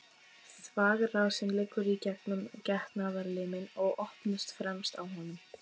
Þvagrásin liggur í gegnum getnaðarliminn og opnast fremst á honum.